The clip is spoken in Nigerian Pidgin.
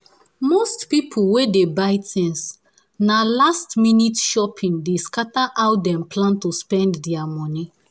most people wey dey buy things na last-minute shopping dey scatter how dem plan to spend their money